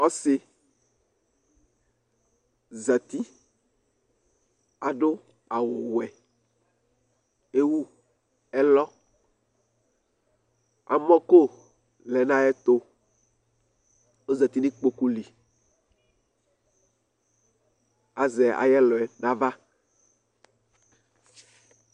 Ɔsɩ zati; aɖʋ awʋ wɛEwu ɛlɔAmɔ ƙo lɛ nʋ aƴɛtʋ, ozati n'iƙpoƙu liAzɛ aƴʋ ɛlɔ ƴɛ n' ava